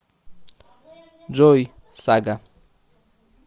джой сага